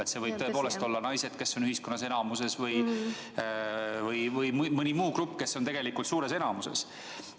Selleks võivad tõepoolest olla ka naised, kes on ühiskonnas enamuses, või mõni muu grupp, kes on tegelikult suures enamuses.